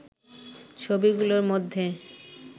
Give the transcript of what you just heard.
ছবিগুলোর মধ্যে